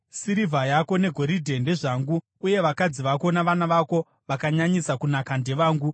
‘Sirivha yako negoridhe ndezvangu, uye vakadzi vako navana vako vakanyanyisa kunaka ndevangu.’ ”